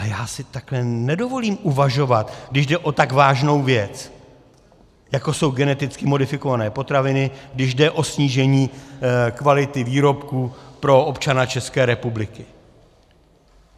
A já si takhle nedovolím uvažovat, když jde o tak vážnou věc, jako jsou geneticky modifikované potraviny, když jde o snížení kvality výrobků pro občana České republiky.